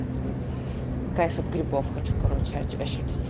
кайф от грибов хочу короче ощутить